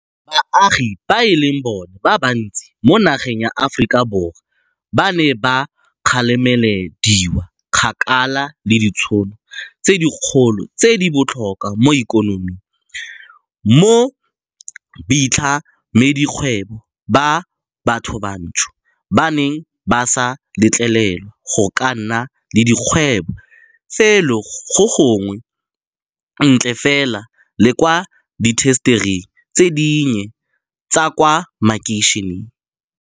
Baagi ba e leng bona ba bantsi mo nageng ya Aforika Borwa ba ne ba kgaramelediwa kgakala le ditšhono tse dikgolo tse di botlhokwa mo ikonoming, mo baitlhamedikgwebo ba bathobantsho ba neng ba sa letlelelwa go ka nna le dikgwebo felo gongwe ntle fela le kwa diintasetering tse dinnye tsa kwa makeišeneng.